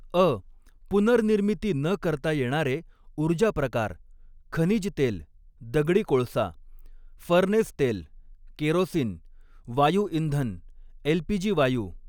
अ पुनर्निर्मिती न करता येणारे ऊर्जा प्रकार खनिज तेल, दगडी कोळसा, फर्नेस तेल, केरोसिन, वायू इंधन एल पी जी वायू